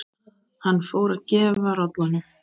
Hann fór að gefa rollunum